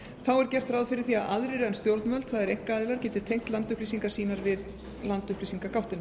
þá er gert ráð fyrir því að aðrir en stjórnvöld það er einkaaðilar geti tengt landupplýsingar sínar við landupplýsingagáttina